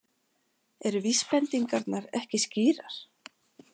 Eru vísbendingarnar ekki skýrar?